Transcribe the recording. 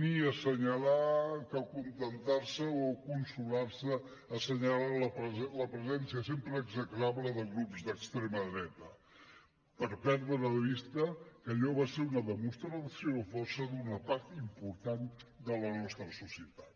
ni assenyalar que acontentar se o consolar se assenyalant la presència sempre execrable de grups d’extrema dreta per perdre de vista que allò va ser una demostració de força d’una part important de la nostra societat